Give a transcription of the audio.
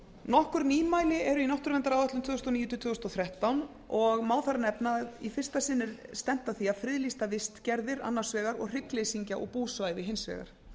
nokkur nýmæli eru í náttúruverndaráætlun tvö þúsund og níu til tvö þúsund og þrettán og má þar nefna að í fyrsta sinn er stefnt að því að friðlýsa vistgerðir annars vegar og hryggleysingja og búsvæði þeirra hins vegar